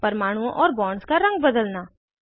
परमाणुओं और बॉन्ड्स का रंग बदलना